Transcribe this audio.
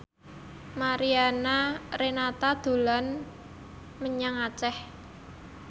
Mariana Renata dolan menyang Aceh